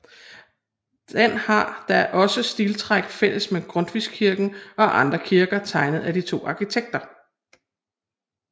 Den har da også stiltræk fælles med Grundtvigskirken og andre kirker tegnet af de to arkitekter